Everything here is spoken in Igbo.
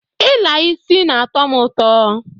I la isi na-ato mu uto.